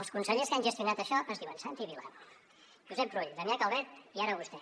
els consellers que han gestionat això es diuen santi vila josep rull damià calvet i ara vostè